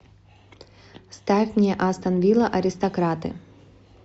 ставь мне астон вилла аристократы